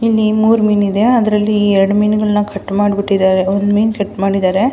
ಇಲ್ಲಿ ಮೂರೂ ಮೀನ್ ಇದೆ ಅದರಲ್ಲ್ಲಿ ಎರಡು ಮೀನ್ಗಳನ್ನ ಕಟ್ ಮಾಡಿಬಿಟ್ಟಿದ್ದಾರೆ ಒಂದ್ ಮೀನ್ ಕಟ್ ಮಾಡಿದ್ದಾರೆ .